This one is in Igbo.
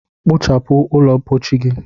Kpochapu ụlọ mpochi gi!